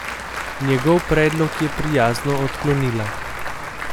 Njegov predlog je prijazno odklonila.